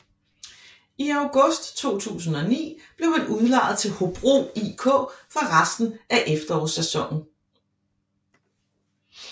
I august 2009 blev han udlejet til Hobro IK for resten af efterårssæsonen